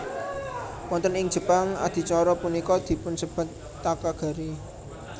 Wonten ing Jepang adicara punika dipunsebat Takagari